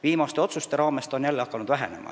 Viimaste otsuste tulemusena on see hakanud jälle vähenema.